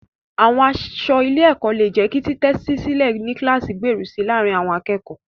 Àwọn aṣọ ilé-ẹ̀kọ́ lè jẹ́ kí títẹ́tísílẹ̀ ní kíláàsì gbèrú si láàárín àwọn akẹ́kọ̀ọ́.